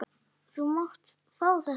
Þú mátt fá þetta.